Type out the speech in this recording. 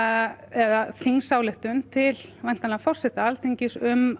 eða þingsályktun til væntanlega forseta Alþingis um